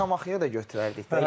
Yox, Şamaxıya da götürərdik də.